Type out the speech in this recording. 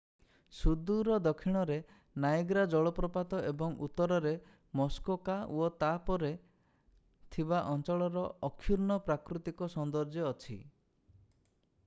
ସୁଦୂର ଦକ୍ଷିଣରେ ନାଏଗ୍ରା ଜଳପ୍ରପାତ ଏବଂ ଉତ୍ତରରେ ମୁସ୍କୋକା ଓ ତାହା ପରେ ଥିବା ଅଞ୍ଚଳର ଅକ୍ଷୁର୍ଣ୍ଣ ପ୍ରାକୃତିକ ସୌନ୍ଦର୍ଯ୍ୟ ଅଛି